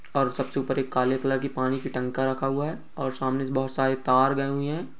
और सबसे ऊपर एक काले कलर की पानी की टंका रखा हुआ है और सामने से बहुत सारे तार गए हुए है।